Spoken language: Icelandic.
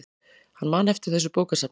Hann man eftir þessu bókasafni.